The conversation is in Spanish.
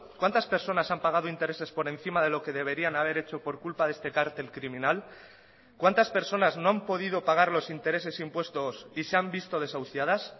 cuántas personas han pagado intereses por encima de lo que deberían haber hecho por culpa de este cártel criminal cuántas personas no han podido pagar los intereses impuestos y se han visto desahuciadas